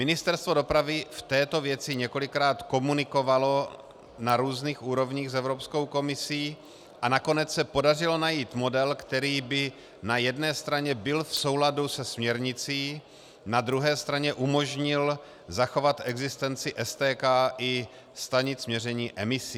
Ministerstvo dopravy v této věci několikrát komunikovalo na různých úrovních s Evropskou komisí a nakonec se podařilo najít model, který by na jedné straně byl v souladu se směrnicí, na druhé straně umožnil zachovat existenci STK i stanic měření emisí.